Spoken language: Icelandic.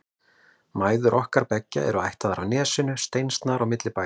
Mæður okkar beggja eru ættaðar af Nesinu og steinsnar á milli bæja.